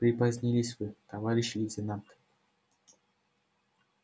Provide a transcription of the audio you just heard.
припозднились вы товарищ лейтенант